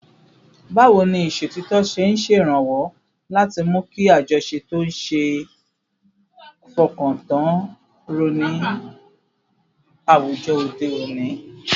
Báwo ni ìṣòtítọ́ ṣe ń ṣèrànwọ́ láti mú kí àjọṣe tó ṣeé fọkàn tán ró ní àwùjọ òde òní?